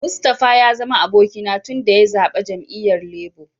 Mustapha ya zama abokina tun daya zabbe jami'yyan Labour.